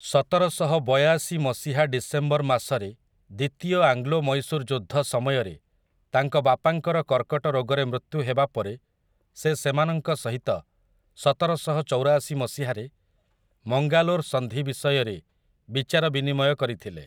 ସତରଶହବୟାଶି ମସିହା ଡିସେମ୍ବର ମାସରେ ଦ୍ୱିତୀୟ ଆଙ୍ଗ୍ଲୋ ମୈଶୂର ଯୁଦ୍ଧ ସମୟରେ ତାଙ୍କ ବାପାଙ୍କର କର୍କଟ ରୋଗରେ ମୃତ୍ୟୁ ହେବା ପରେ ସେ ସେମାନଙ୍କ ସହିତ ସତରଶହଚଉରାଶି ମସିହାରେ ମଙ୍ଗାଲୋର ସନ୍ଧି ବିଷୟରେ ବିଚାରବିନିମୟ କରିଥିଲେ ।